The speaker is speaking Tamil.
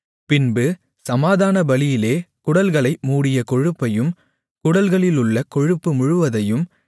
பின்பு சமாதான பலியிலே குடல்களை மூடிய கொழுப்பையும் குடல்களிலுள்ள கொழுப்பு முழுவதையும்